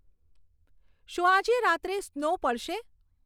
શું રાજે રાત્રે સ્નો પડશે